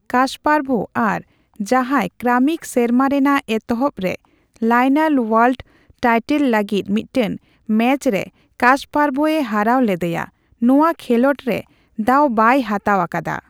Kasparov, ᱟᱨ ᱡᱟᱦᱟᱸᱭ Kramnik ᱥᱮᱨᱢᱟ ᱨᱮᱱᱟᱜ ᱮᱛᱚᱦᱚᱵ ᱨᱮ ᱞᱟᱭᱱᱟᱞ ᱳᱣᱟᱨᱞᱰ ᱴᱟᱭᱴᱮᱞ ᱞᱟᱹᱜᱤᱫ ᱢᱤᱫᱴᱟᱝ ᱢᱮᱪ ᱨᱮ ᱠᱟᱥᱯᱟᱨᱵᱷ ᱮ ᱦᱟᱨᱟᱣ ᱞᱮᱫᱮᱭᱟ, ᱱᱚᱣᱟ ᱠᱷᱮᱞᱚᱸᱰ ᱨᱮ ᱫᱟᱣ ᱵᱟᱭ ᱵᱟᱭ ᱦᱟᱛᱟᱣ ᱟᱠᱟᱫᱟ ᱾